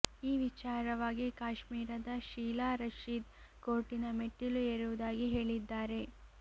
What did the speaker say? ಈ ವಿಚಾರವಾಗಿ ಕಾಶ್ಮೀರದ ಶೀಲಾ ರಷೀದ್ ಕೋರ್ಟಿನ ಮೆಟ್ಟಿಲು ಏರುವುದಾಗಿ ಹೇಳಿದ್ದಾರೆ